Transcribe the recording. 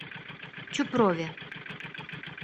чупрове